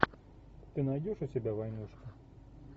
ты найдешь у себя войнушку